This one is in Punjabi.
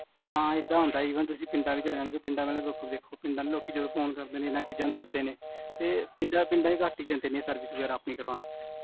ਹਾਂ ਏਦਾਂ ਹੁੰਦਾ ਆ, even ਤੁਸੀਂ ਪਿੰਡਾਂ ਵਿੱਚ ਰਹੰਦੇ ਹੋ, ਪਿੰਡਾ ਵਿੱਚ ਦੁਖ ਦੇਖੋ, ਪਿੰਡਾ ਦੇ ਲੋਕੀ ਜਦੋਂ ਫੋਨ ਕਰਦੇ ਨੇ, ਇੰਨਾ ਚੀਜਾਂ ਨੂ ਦਸਦੇ ਨੇ, ਤੇ ਪਿੰਡਾ ਚ ਘੱਟ ਹੀ ਜਾਂਦੇ ਨੇ ਆਪਣੀ service ਕਾਰਵਾਉਂਣ